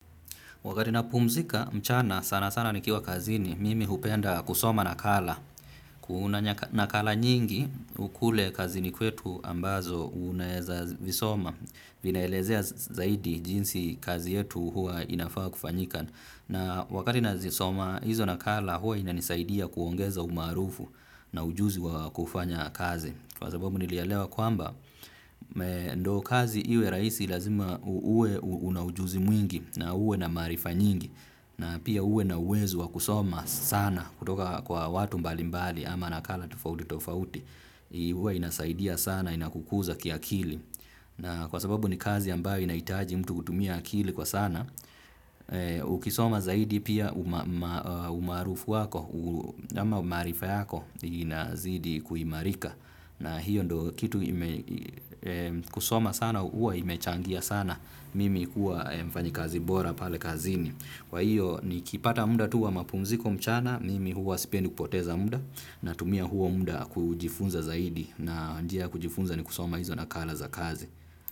Wakati napumzika mchana sana sana nikiwa kazini mimi hupenda kusoma nakala. Kuna nakala nyingi kule kazini kwetu ambazo unaweza zisoma. Zinaelezea zaidi jinsi kazi yetu huwa inafaa kufanyika. Na wakati nazisoma hizo nakala huwa inanisaidia kuongeza umaarufu na ujuzi wa kufanya kazi. Kwa sababu nilielewa kwamba ndo kazi iwe raisi lazima uwe una ujuzi mwingi na uwe na maarifa nyingi na pia uwe na uwezo wa kusoma sana kutoka kwa watu mbalimbali ama nakala tofauti tofauti. Huwa inasaidia sana inakukuza kiakili. Na kwa sababu ni kazi ambayo inahitaji mtu kutumia akili kwa sana, ukisoma zaidi pia umaarufu wako, ama maarifa yako inazidi kuimarika. Na hiyo ndo kitu kusoma sana huwa imechangia sana mimi kuwa mfanyakazi bora pale kazini. Kwa hiyo nikipata muda tu wa mapumziko mchana, mimi huwa sipendi kupoteza muda natumia huo muda kujifunza zaidi na njia ya kujifunza ni kusoma hizo nakala za kazi.